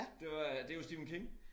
Det var det jo Stephen King